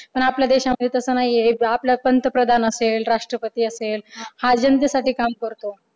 पण आपल्या देशामध्ये तसं नाहीये आपलं प्रंतप्रधान असेल, आपल्या राष्ट्रपती असेल, हा जनतेसाठी काम करतो.